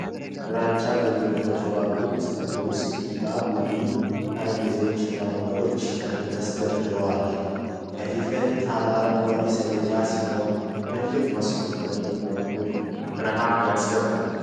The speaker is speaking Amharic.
ግራጫ ግድግዳዎች ባሉት ክፍል ውስጥ ብዙ ቡኒ ጠረጴዛዎች እና ወንበሮች በትክክል ተሰድረዋል። ከፊት ለፊቱ አረንጓዴ ሰሌዳ ሲኖር፣ ትልቅ መስኮት በቀኝ በኩል ብርሃን ያስገባል።